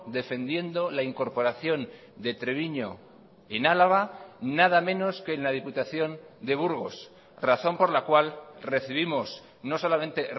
defendiendo la incorporación de treviño en álava nada menos que en la diputación de burgos razón por la cual recibimos no solamente